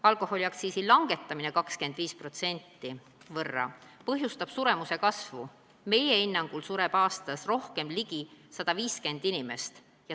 Alkoholiaktsiisi langetamine 25% võrra põhjustab suremuse kasvu, meie hinnangul sureb aastas rohkem ligikaudu 150 inimest.